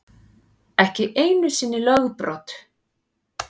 Ekki einu sinni lögbrot.